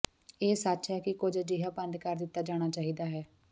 ਇਹ ਸੱਚ ਹੈ ਕਿ ਕੁਝ ਅਜਿਹਾ ਬੰਦ ਕਰ ਦਿੱਤਾ ਜਾਣਾ ਚਾਹੀਦਾ ਹੈ